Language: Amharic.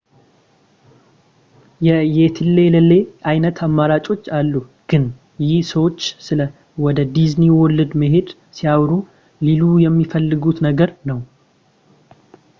የትዬለሌ ዓይነት አማራጮች አሉ ግን ይህ ሰዎች ስለ ወደ ዲዝኒ ወርልድ መሄድ ሲያወሩ ሊሉ የሚፈልጉት ነገር ነው